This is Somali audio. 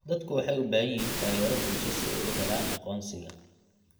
Dadku waxay u baahan yihiin taageero bulsho si ay u helaan aqoonsiga.